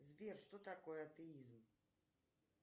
сбер что такое атеизм